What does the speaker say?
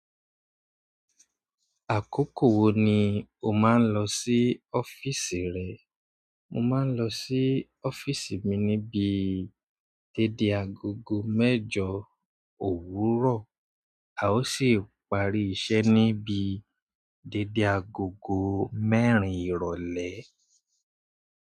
Àkókò wo ni o máa ń lọ sí ọ́fíísì rẹ? Mo máa ń lọ sí ọ́fíísì mi ní bi dédé agogo mẹ́jọ òwúrọ̀, a ó sì parí iṣẹ́ níbi dédé agogo mẹ́rin ìrọ́lẹ́.